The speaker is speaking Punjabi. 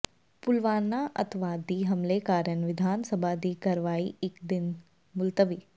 ਪੁਲਵਾਮਾ ਅੱਤਵਾਦੀ ਹਮਲੇ ਕਾਰਨ ਵਿਧਾਨ ਸਭਾ ਦੀ ਕਾਰਵਾਈ ਇੱਕ ਦਿਨ ਲਈ ਮੁਲਤਵੀ